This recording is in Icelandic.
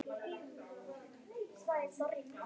Og allt í einu fer ég að hugsa um nöfn.